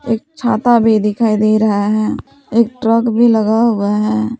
एक छाता भी दिखाई दे रहा है एक ट्रक भी लगा हुआ है।